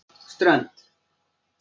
Strönd